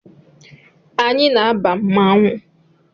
Anyị na-aba na mmanwụ